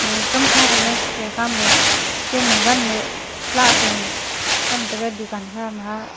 aga kamkha trega chethre khama kemey ganey lah puhlo tham taiga dukan khama.